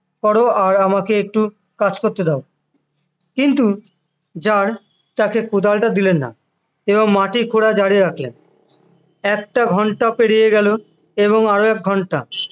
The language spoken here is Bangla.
করো আর আমাকে একটু কাজ করতে দাও কিন্তু জার তাকে কোদালটা দিলেন না এবং মাটির খোঁড়া জারি রাখলেন একটা ঘন্টা পেরিয়ে গেল এবং আরো এক ঘন্টা